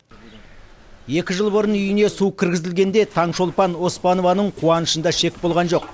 екі жыл бұрын үйіне су кіргізілгенде таңшолпан оспанованың қуанышында шек болған жоқ